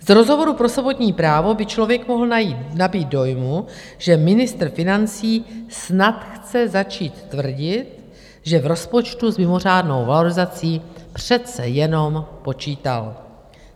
Z rozhovoru pro sobotní Právo by člověk mohl nabýt dojmu, že ministr financí snad chce začít tvrdit, že v rozpočtu s mimořádnou valorizací přece jenom počítal.